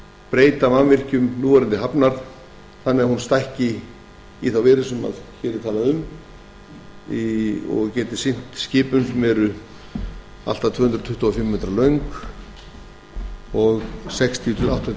breyta mannvirkjum núverandi hafnar þannig að hún stækki líkt og hér er talað um og geti sinnt allt að tvö hundruð tuttugu og fimm metra löngum og sextíu þúsund